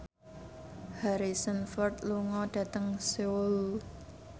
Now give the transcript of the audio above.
Harrison Ford lunga dhateng Seoul